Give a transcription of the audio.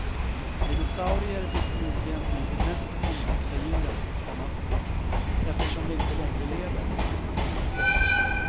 Dinosaurier blir förmodligen nu de mest omtyckta djuren, komma eftersom de inte längre lever. punkt